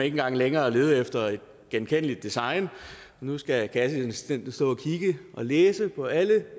engang længere lede efter et genkendeligt design nu skal kasseassistenten læse på alle de